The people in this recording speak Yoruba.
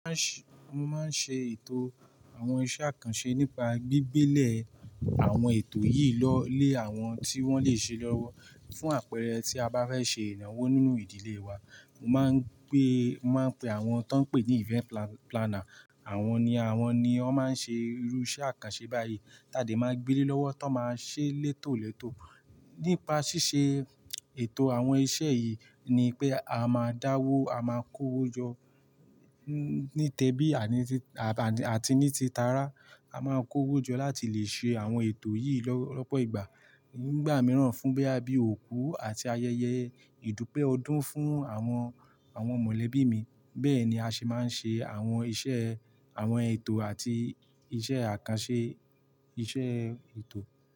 Mo máa ń ṣe ètò àwọn iṣẹ́ àkànṣe nípa gbígbélẹ̀ àwọn ètò yìí lọ́ lé àwọn tí wọ́n lè ṣe é lọ́wọ́. Fún àpẹẹrẹ tí a bá fẹ́ ṣe ìnáwó nínú ìdílé wa, mo máa ń pé, mo máa ń pe àwọn tán ń pè ní event planner, àwọn ni, àwọn ni wọ́n máa ń ṣe irú iṣẹ́ àkànṣe báyìí. Tadẹ̀ máa gbéelé lọ́wọ́ tán máa ṣé létòlétò. Nípa ṣíṣe ètò àwọn iṣẹ́ yìí ni pé a máa dáwọ́, a máa kó wó jọ ní tẹbí àti ní ti tará. A máa ń kó wó jọ láti lè ṣe àwọn ètò yìí lọ́pọ̀ ìgbà. Nígbà mìíràn fún bóyá bíi òkú àti ayẹyẹ ìdúpẹ́ ọdún fún àwọn, àwọn mọ̀lẹ́bí mi. Bẹ́ẹ̀ ni a ṣe máa ń ṣe àwọn iṣẹ́, àwọn ètò àti iṣẹ́ àkànṣe iṣẹ́ ètò.